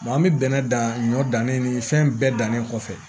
an bɛ bɛnɛ dan ɲɔ dannen ni fɛn bɛɛ dannen kɔfɛ